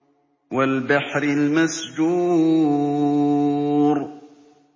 وَالْبَحْرِ الْمَسْجُورِ